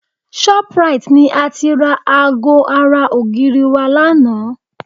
Shoprite ni a ti ra aago ara ògiri wa lánàá